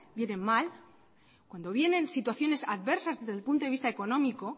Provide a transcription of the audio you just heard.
vienen mal cuando vienen situaciones adversas desde el punto de vista económico